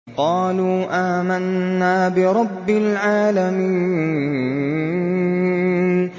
قَالُوا آمَنَّا بِرَبِّ الْعَالَمِينَ